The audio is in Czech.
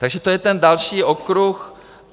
Takže to je ten další okruh.